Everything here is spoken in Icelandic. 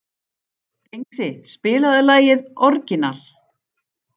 Dengsi, spilaðu lagið „Orginal“.